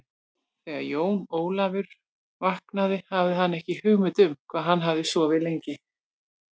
Þegar Jón Ólafur vaknaði hafði hann ekki hugmynd um hvað hann hafði sofið lengi.